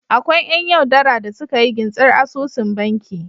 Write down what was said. Akwai yan yau dara da suka iya gintsar asusun banki